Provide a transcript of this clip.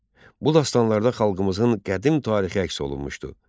Bu dastanlarda xalqımızın qədim tarixi əks olunmuşdur.